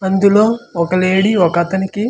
అందులో ఒక లేడి ఒక అతనికి.